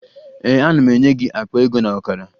Ee, ana m enye gị akpa ego na ọkara